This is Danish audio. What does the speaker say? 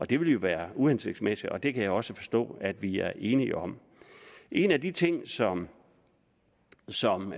det ville jo være uhensigtsmæssigt og det kan jeg også forstå at vi er enige om en af de ting som som